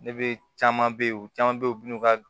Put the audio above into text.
Ne be caman be yen u caman be ye u bi n'u ka